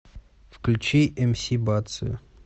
включи мс бацию